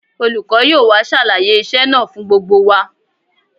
Olùkọ́ yóò wá ṣàlàyé iṣẹ́ náà fún gbogbo wa